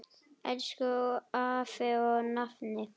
Elsku afi og nafni.